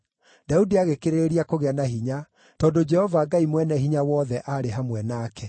Daudi agĩkĩrĩrĩria kũgĩa na hinya tondũ Jehova Ngai Mwene-Hinya-Wothe aarĩ hamwe nake.